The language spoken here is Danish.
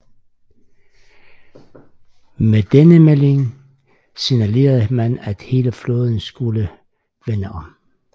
Med denne vending signalerede man at hele flåden skulle vende om